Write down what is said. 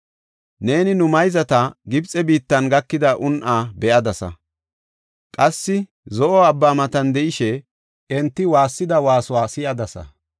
Neeni nu mayzata Gibxe biittan gakida un7aa be7adasa; qassi Zo7o Abbaa matan de7ishe enti waassida waasuwa si7adasa.